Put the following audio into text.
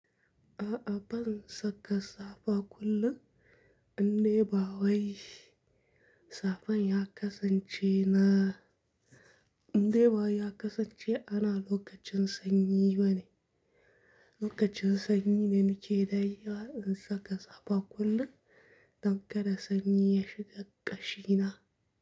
A'a ban saka safa kullum, in de ba wai safan ya kasance na, inde ba ya kasance ana lokacin sanyi bane. Lokacin sanyi ne nake da dagewa in saka safa kullum don kada sanyi ya shiga ƙashina.